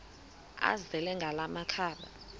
azele ngala makhaba